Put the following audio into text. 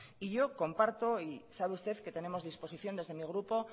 y yo comparta y sabe usted que tenemos disposición desde mi grupo